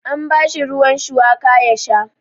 An bashi ruwan shuwaka ya sha.